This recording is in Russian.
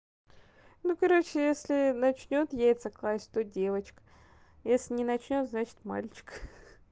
ну короче если начнёт яйца класть что девочка если не начнёт значит мальчик